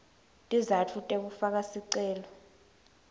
tizatfu tekufaka sicelo